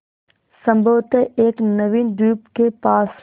संभवत एक नवीन द्वीप के पास